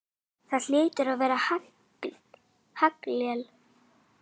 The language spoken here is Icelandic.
Það hlaut að vera haglél!